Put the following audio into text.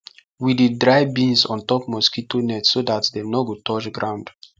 we dey dry beans on top mosquito net so that dem nor go touch ground